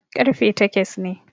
ƙarfe takes ne